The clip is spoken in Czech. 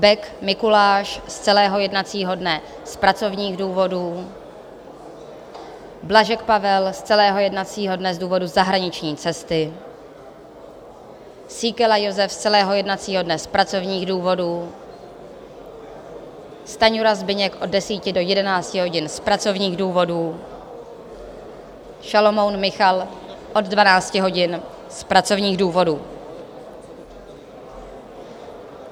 Bek Mikuláš z celého jednacího dne z pracovních důvodů, Blažek Pavel z celého jednacího dne z důvodu zahraniční cesty, Síkela Jozef z celého jednacího dne z pracovních důvodů, Stanjura Zbyněk od 10 do 11 hodin z pracovních důvodů, Šalomoun Michal od 12 hodin z pracovních důvodů.